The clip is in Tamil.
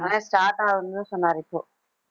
ஆனா start ஆகும்னு தான் சொன்னாரு, இப்போ